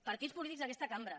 partits polítics d’aquesta cambra